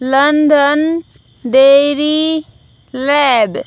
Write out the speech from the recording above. London dairy lab --